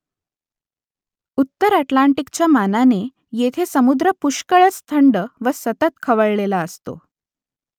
उत्तर अटलांटिकच्या मानाने येथे समुद्र पुष्कळच थंड व सतत खवळलेला असतो